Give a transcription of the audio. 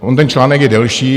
On ten článek je delší.